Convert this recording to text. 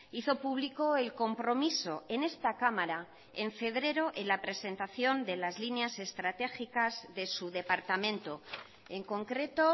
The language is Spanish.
hizo público el compromiso en esta cámara en febrero en la presentación de las líneas estratégicas de su departamento en concreto